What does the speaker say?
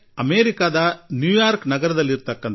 ಒಂದು ಅಮೆರಿಕದ ನ್ಯೂಯಾರ್ಕ್ ನಗರದ ಯು